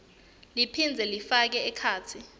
liphindze lifake ekhatsi